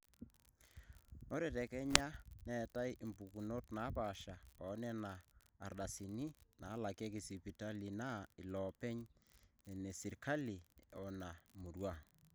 ore te kenya neetai impukunot naapaasha oonena ardasini naalakieki sipitali naa: inooloopeny, inesirkali one murrua